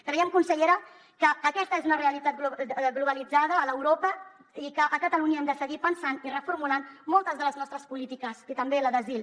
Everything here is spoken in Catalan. creiem consellera que aquesta és una realitat globalitzada a europa i que a catalunya hem de seguir pensant i reformulant moltes de les nostres polítiques i també la d’asil